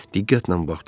Diqqətlə baxdı.